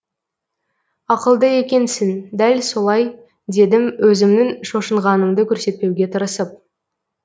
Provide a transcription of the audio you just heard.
ақылды екенсің дәл солай дедім өзімнің шошынғанымды көрсетпеуге тырысып